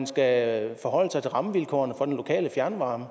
skal forholde sig til rammevilkårene for den lokale fjernvarme